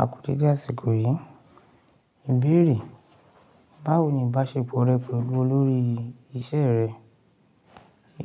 Aku deedé ásíkòyí, ìbéèrè, báwo ni ìbáṣepọ̀ rẹ pẹ̀lú olórí ìṣe rẹ?